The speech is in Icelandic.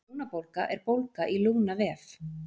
Lungnabólga er bólga í lungnavef.